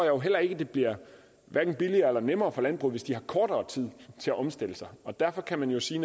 jo heller ikke at det bliver billigere og nemmere for landbruget hvis de har kortere tid til at omstille sig derfor kan man jo sige